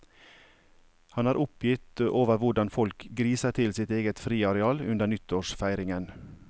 Han er oppgitt over hvordan folk griser til sitt eget friaral under nyttårsfeiringen.